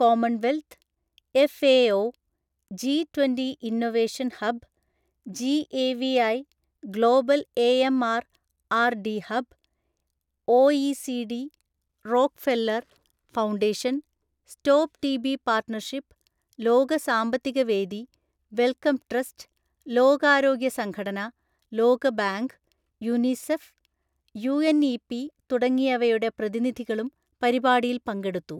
Commonwealth, FAO, G twenty Innovation Hub, GAVI, Global AMR R D Hub, OECD, Rockefeller Foundation, Stop TB Partnership, ലോക സാമ്പത്തികവേദി, Wellcome Trust, ലോകാരോഗ്യ സംഘടന, ലോകബാങ്ക്, UNICEF, UNEP തുടങ്ങിയവയുടെ പ്രതിനിധികളും പരിപാടിയിൽ പങ്കെടുത്തു.